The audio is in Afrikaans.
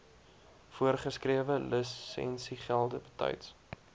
voorgeskrewe lisensiegelde betyds